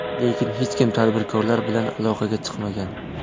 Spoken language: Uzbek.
Lekin hech kim tadbirkorlar bilan aloqaga chiqmagan.